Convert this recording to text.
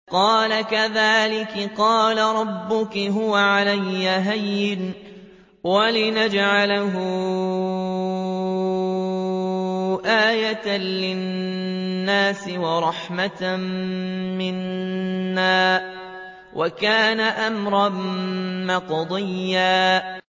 قَالَ كَذَٰلِكِ قَالَ رَبُّكِ هُوَ عَلَيَّ هَيِّنٌ ۖ وَلِنَجْعَلَهُ آيَةً لِّلنَّاسِ وَرَحْمَةً مِّنَّا ۚ وَكَانَ أَمْرًا مَّقْضِيًّا